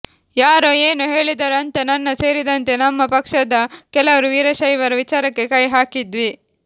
ಯಾರೋ ಏನೋ ಹೇಳಿದರೂ ಅಂತ ನನ್ನ ಸೇರಿದಂತೆ ನಮ್ಮ ಪಕ್ಷದ ಕೆಲವರು ವೀರಶೈವರ ವಿಚಾರಕ್ಕೆ ಕೈ ಹಾಕಿದ್ವಿ